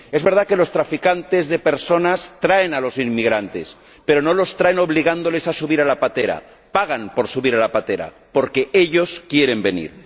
Es verdad que los traficantes de personas traen a los inmigrantes, pero no los traen obligándoles a subir a la patera. Pagan por subir a la patera porque ellos quieren venir.